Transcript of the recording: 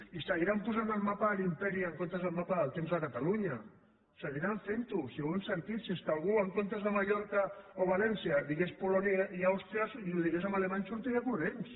i seguiran posant el mapa de l’imperi en comptes del mapa del temps a catalunya seguiran fent ho si ja ho hem sentit si és que si algú en comptes de mallorca o valència digués polònia i àustria i ho digués en alemany sortiria corrents